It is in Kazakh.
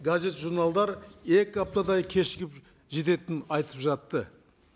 газет журналдар екі аптадай кешігіп жететінін айтып жатты